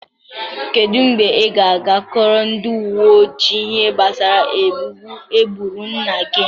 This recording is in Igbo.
Kedu mgbe ị ga-aga kọọrọ ndị uwe ojii ihe gbasara egbugbu egburu nna gị?